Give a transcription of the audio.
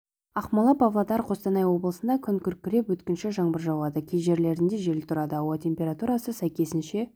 ақмола павлодар қостанай облысында күн күркіреп өткінші жаңбыр жауады кей жерлерінде жел тұрады ауа температурасы сәйкесінше